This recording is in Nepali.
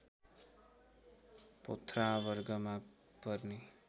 पोथ्रा वर्गमा पर्ने